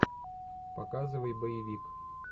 показывай боевик